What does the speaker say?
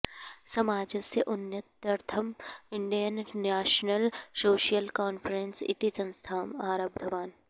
समाजस्य उन्नत्यर्थं Indian National Social Conference इति संस्थाम् आरब्धवान्